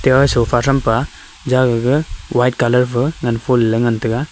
ah sofa thrampa jaga gag white colour fa nganful ley ngantaga.